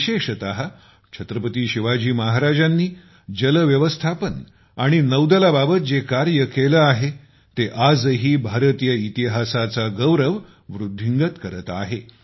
विशेषत छत्रपती शिवाजी महाराजांनी जलव्यवस्थापन आणि नौदलाबाबत जे कार्य केले आहे ते आजही भारतीय इतिहासाचा गौरव वृद्धिंगत करत आहेत